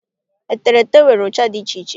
Eterete nwere ụcha dị iche iche